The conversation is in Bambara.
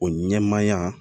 O ɲɛmaaya